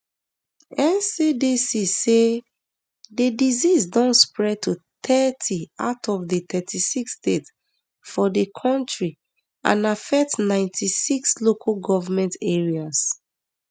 ncdc say di disease don spread to thirty out of di thirty-six states for di kontri and affect ninety-six local goment areas